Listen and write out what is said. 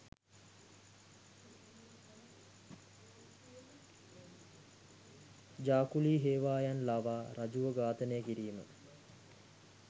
ජා කුලී හේවායන් ලවා රජුව ඝාතනය කිරීම